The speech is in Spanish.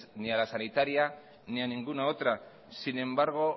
ni a la sanitaria ni a ninguna otra sin embargo